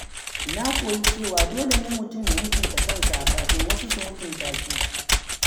Na koyi cewa dole ne mutum ya mutunta kansa kafin wasu su mutunta shi.